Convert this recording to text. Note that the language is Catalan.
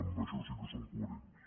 amb això sí que són coherents